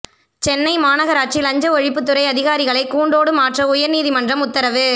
சென்னை மாநகராட்சி லஞ்ச ஒழிப்புத்துறை அதிகாரிகளை கூண்டோடு மாற்ற உயர் நீதிமன்றம் உத்தரவு